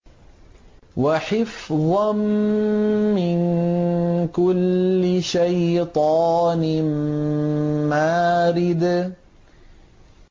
وَحِفْظًا مِّن كُلِّ شَيْطَانٍ مَّارِدٍ